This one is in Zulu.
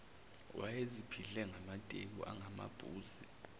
wayeziphihle ngamateki angamabhuzi